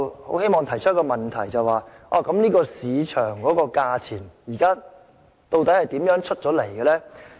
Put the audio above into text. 我希望提出一個問題，究竟這個市場價錢是如何得出來的？